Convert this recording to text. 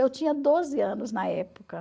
Eu tinha doze anos na época.